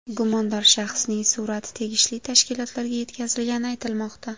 Gumondor shaxsning surati tegishli tashkilotlarga yetkazilgani aytilmoqda.